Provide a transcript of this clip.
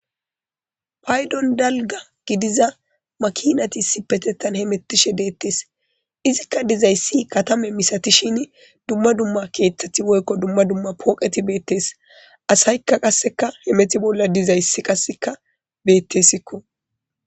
Paydon dalga gidiza makiinati issippetethan hemmettishe deettees. Izikka dizayssi katame misatishin dumma dumma keeththati dishin dumma dumma pooqeti beettees. Asaykka qasseka hemette bolla dizayssi qasseka beettisikko